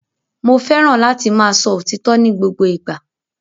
Mo fẹràn láti máa sọ òtítọ ni gbogbo ìgbà.